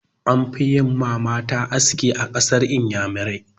An fi yi ma mata aski a ƙasar inyamurai.